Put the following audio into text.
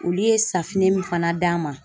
Olu ye min fana d'an ma.